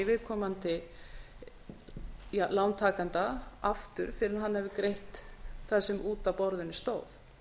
viðkomandi lántakanda aftur fyrr en hann hefur greitt það sem út af borðinu stóð